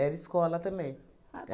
Era escola também. Ah